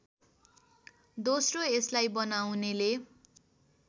दोस्रो यसलाई बनाउनेले